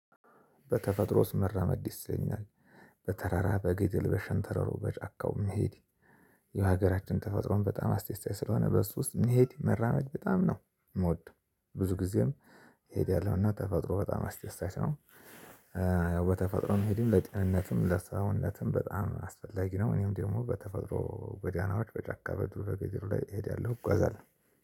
በተፈጥሮ ውስጥ መራመድ ደስ ይለኛል። በተራራ፣ በገደል፣ በሸንተሩ፣ በጫካው መሄድ የሀገራችን ተፈጥሮን በጣም አስደሳች ስለሆነ በሱ ውስጥ መሄድ መራመድ በጣም ነው የምወደው። ብዙ ጊዜም እሄዳለሁ። እና ተፈጥሮ በጣም አስደሳች ነው። በተፈጥሮም መሄድም ለጤንነትም ለሰውነትም በጣም አስፈላጊ ነው። እኔም ደግሞ በተፈጥሮ ጎዳናዎች በጨካ በዱር በገደሉ ላይ እሄዳለሁ። እጓዛለሁ።